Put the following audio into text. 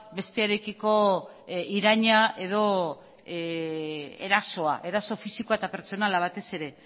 bestearekiko iraina edo erasoa eraso fisiko eta pertsonala batez ere